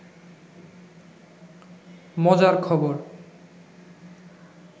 মজার খবর